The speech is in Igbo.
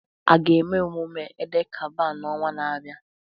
A ga-eme mmemme Eid-el-Kabir n'ọnwa na-abịa?